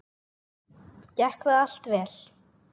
Gekk það allt vel.